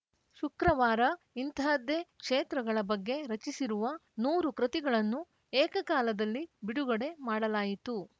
ಶುಕ್ರವಾರ ಇಂತಹದ್ದೇ ಕ್ಷೇತ್ರಗಳ ಬಗ್ಗೆ ರಚಿಸಿರುವ ನೂರು ಕೃತಿಗಳನ್ನು ಏಕ ಕಾಲದಲ್ಲಿ ಬಿಡುಗಡೆ ಮಾಡಲಾಯಿತು